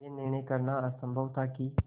यह निर्णय करना असम्भव था कि